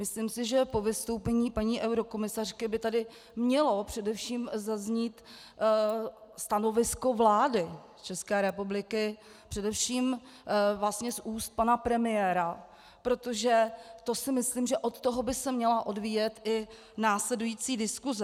Myslím si, že po vystoupení paní eurokomisařky by tady mělo především zaznít stanovisko vlády České republiky, především vlastně z úst pana premiéra, protože to si myslím, že od toho by se měla odvíjet i následující diskuse.